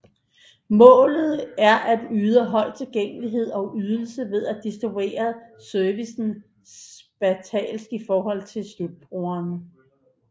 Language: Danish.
Målet er at yde høj tilgængelighed og ydelse ved at distribuere servicen spatialt i forhold til slutbrugerne